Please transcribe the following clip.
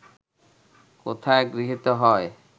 কোথায় গৃহীত হয়